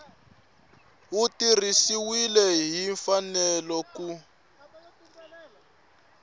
wu tirhisiwile hi mfanelo ku